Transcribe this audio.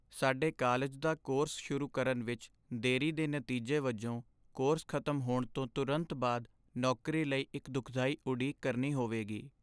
ਸਾਡੇ ਕਾਲਜ ਦਾ ਕੋਰਸ ਸ਼ੁਰੂ ਕਰਨ ਵਿੱਚ ਦੇਰੀ ਦੇ ਨਤੀਜੇ ਵਜੋਂ ਕੋਰਸ ਖ਼ਤਮ ਹੋਣ ਤੋਂ ਤੁਰੰਤ ਬਾਅਦ ਨੌਕਰੀ ਲਈ ਇੱਕ ਦੁਖਦਾਈ ਉਡੀਕ ਕਰਨੀ ਹੋਵੇਗੀ।